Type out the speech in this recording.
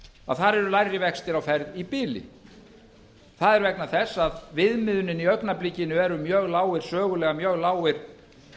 að þar eru lægri vextir á ferð í bili það er vegna þess að viðmiðunin í augnablikinu eru sögulega mjög lágir